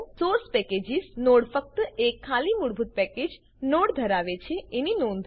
source packages node ફક્ત એક ખાલી મૂળભૂત પેકેજ નોડ ધરાવે છે એની નોંધ લો